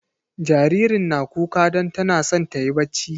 Jaririnta na kuka don tana son ta yi bacci.